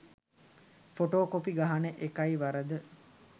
Photo copy ගහන එකයි වරද.